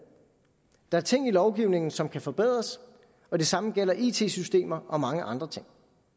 der er ting i lovgivningen som kan forbedres og det samme gælder it systemer og mange andre ting